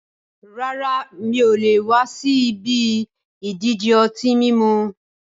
Rárá, mi ò le wa si ibi ìdíje ọtí mímu